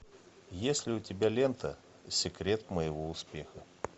есть ли у тебя лента секрет моего успеха